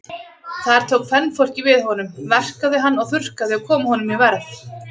Þar tók kvenfólkið við honum, verkaði hann og þurrkaði og kom honum í verð.